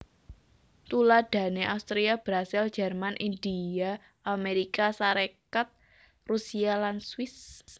Tuladhané Austria Brasil Jerman India Amérika Sarékat Rusia lan Swiss